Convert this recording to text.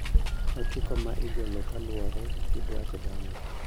Otiko ma igolo kaluwore gi dwach dhano